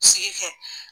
Sigi kɛ